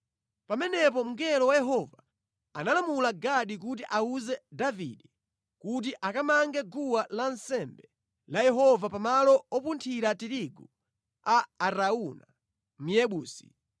Pamenepo mngelo wa Yehova analamula Gadi kuti awuze Davide kuti akamange guwa lansembe la Yehova pamalo opunthira tirigu a Arauna Myebusi.